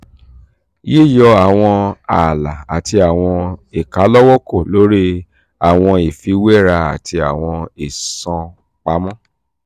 yíyọ àwọn ààlà àti àwọn ìkálọ́wọ́kò lórí àwọn ìfiwéra àti àwọn ìsọ̀ǹpamọ́